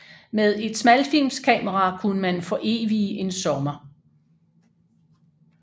Med et smalfilmskamera kunne man forevige en sommer